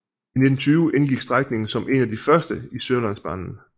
I 1920 indgik strækningen som en af de første dele i Sørlandsbanen